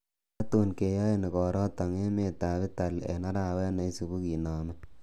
Tatun keyoen igoroton emetab Italy en arawet neisiibu kinome.